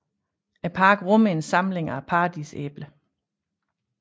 Parken rummer en samling af paradisæbler